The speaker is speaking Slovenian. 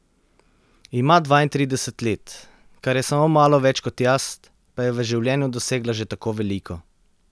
Ima dvaintrideset let, kar je samo malo več kot jaz, pa je v življenju dosegla že tako veliko.